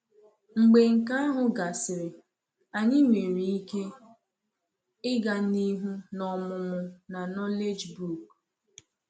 Mgbe nke ahụ gasịrị, anyị nwere ike ịga n’ihu n’omụmụ na Knowledge book.